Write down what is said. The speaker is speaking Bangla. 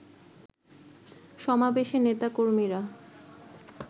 সমাবেশে নেতাকর্মীরা